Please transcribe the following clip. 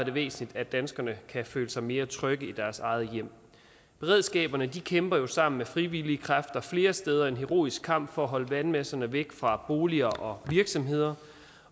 er væsentligt at danskerne kan føle sig mere trygge i deres eget hjem beredskaberne kæmper jo sammen med frivillige kræfter flere steder en heroisk kamp for at holde vandmasserne væk fra boliger og virksomheder